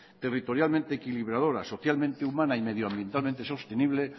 territorialmente equilibradora socialmente humana y medio ambientalmente sostenible